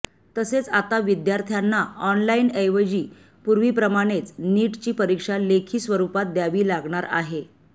तसेच आता विद्यार्थ्यांना ऑनलाइनऐवजी पूर्वीप्रमाणेच नीटची परीक्षा लेखी स्वरुपात द्यावी द्यावी लागणार आहे